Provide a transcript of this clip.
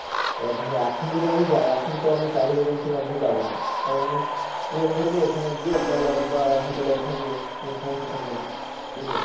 এবার ধরো এখন যদি আমি যাই এখন তো আমি travel agency এর মাধ্যমে যাবো না কারন আমি ট্রেন ধরব ওখানে গিয়ে একটা lodge বা হোটেলে থাকব কোন সমস্যা থাকবে না বুঝলে।